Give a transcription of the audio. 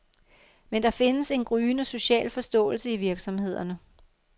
Men der findes en gryende social forståelse i virksomhederne.